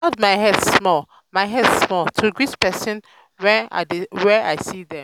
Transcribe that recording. i dey nod my head small my head small to greet pesin wen i see dem.